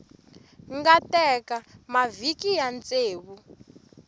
nga teka mavhiki ya ntsevu